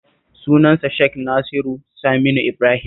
Sunansa Sheikh Naziru Saminu Ibrahim